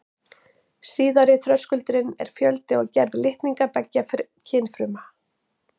Síðari þröskuldurinn er fjöldi og gerð litninga beggja kynfruma.